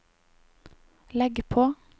legg på